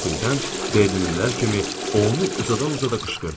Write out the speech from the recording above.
Qəfildən Berlinlilər kimi onu uzada-uzada qışqırdım.